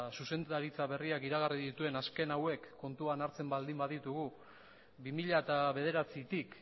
zuzendaritza berriak iragarri dituen azken hauek kontuan hartzen baldin baditugu bi mila bederatzitik